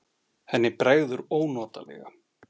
Henni bregður ónotalega.